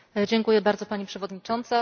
Dziękuję bardzo, Pani Przewodnicząca!